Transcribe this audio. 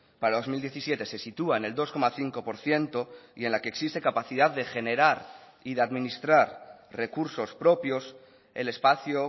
para dos mil diecisiete se sitúa en el dos coma cinco por ciento y en la que existe capacidad de generar y de administrar recursos propios el espacio